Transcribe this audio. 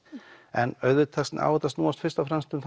en auðvitað á þetta að snúast fyrst og fremst um